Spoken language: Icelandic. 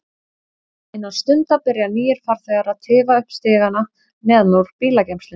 Innan stundar byrja nýir farþegar að tifa upp stigana neðan úr bílageymslunni.